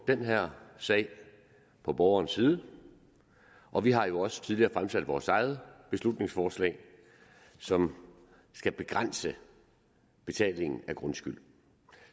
den her sag på borgerens side og vi har jo også tidligere fremsat vores eget beslutningsforslag som skal begrænse betalingen af grundskyld